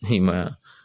I ma ye wa